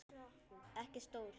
Ekki stór.